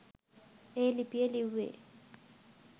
ඒ ලිපිය ලිව්වේ.